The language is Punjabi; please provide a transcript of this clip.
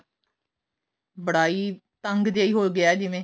ਬੜਾ ਹੀ ਤੰਗ ਜਾ ਹੀ ਹੋਗਿਆ ਜਿਵੇਂ